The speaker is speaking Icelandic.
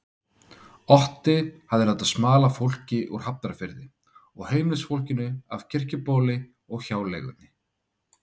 Otti hafði látið smala fólki úr Hafnarfirði og heimilisfólkinu af Kirkjubóli og hjáleigunni.